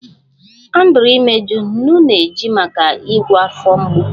Andrew imeju, nnu na-eji maka ịgwọ afọ mgbu